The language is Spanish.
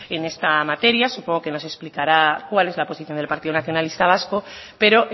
en esta materia supongo que nos explicará cuál es la posición del partido nacionalista vasco pero